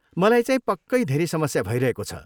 मलाईचाहिँ पक्कै धेरै समस्या भइरहेको छ।